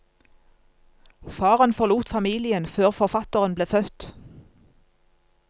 Faren forlot familien før forfatteren ble født.